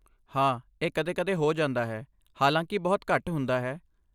ਹਾਂ, ਇਹ ਕਦੇ ਕਦੇ ਹੋ ਜਾਂਦਾ ਹੈ, ਹਾਲਾਂਕਿ ਬਹੁਤ ਘੱਟ ਹੁੰਦਾ ਹੈ